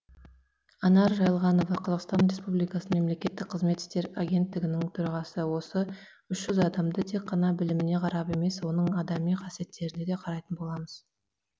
анар жайылғанова қазақстан республикасы мемлекеттік қызмет істері агенттігінің төрағасы осы үш жүз адамды тек қана біліміне қарап емес оның адами қасиеттеріне де қарайтын боламыз